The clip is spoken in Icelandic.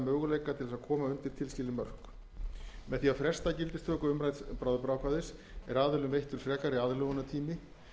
möguleika til þess að komast undir tilskilin mörk með því að fresta gildistöku umrædds bráðabirgðaákvæðis er aðilum veittur frekari aðlögunartími